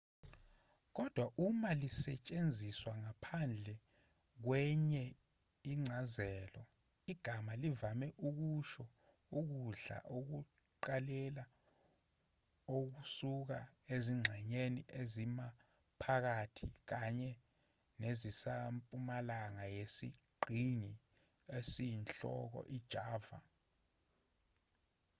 kodwa uma lisetshenziswa ngaphandle kwenye incazelo igama livame ukusho ukudla ekuqaleni okusuka ezingxenyeni ezimaphakathi kanye nezisempumalanga yesiqhingi esiyinhloko ijava